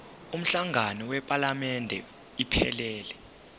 umhlangano wephalamende iphelele